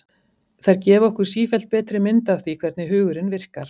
Þær gefa okkur sífellt betri mynd af því hvernig hugurinn virkar.